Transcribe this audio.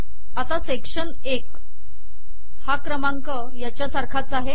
आता सेक्शन १ हा क्रमांक याच्यासारखाच आहे